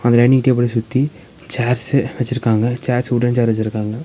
அந்த dining table சுத்தி chairs வெச்சிருக்காங்க சேர்ஸ் வுட்டன் சேர் வெச்சிருக்காங்க.